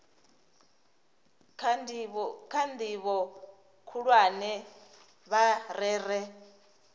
kha ndivho khulwane vha rere